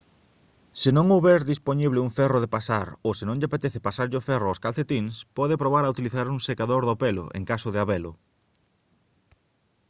se non houber dispoñible un ferro de pasar ou se non lle apetece pasarlle o ferro aos calcetíns pode probar a utilizar un secador do pelo en caso de habelo